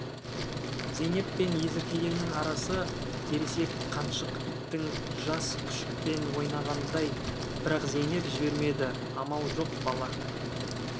зейнеп пен есіркегеннің арасы ересек қаншық иттің жас күшікпен ойнағанындай бірақ зейнеп жібермеді амал жоқ бала